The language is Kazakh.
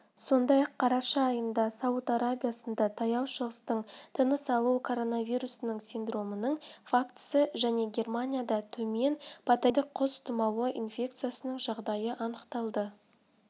сондай-ақ қараша айында сауд арабиясында таяу шығыстық тыныс алу коронавирусының синдромының фактісі және германияда төмен патогендік құс тұмауы инфекциясының жағдайы анықталды